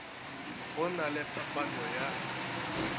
go na le phaphano ya